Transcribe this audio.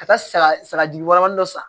Ka taa saga saga jugunin dɔ san